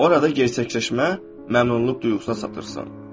Orada gerçəkləşmə, məmnunluq duyğusuna satırsan.